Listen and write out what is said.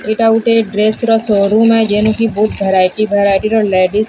ଏଇଟା ଗୁଟେ ଡ୍ରେସ ର ସୋରୁମ ଭେରାଇଟି ଭେରାଇଟିର ଲେଡିସ --